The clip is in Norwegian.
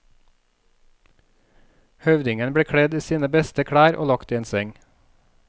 Høvdingen ble kledt i sine beste klær og lagt i en seng.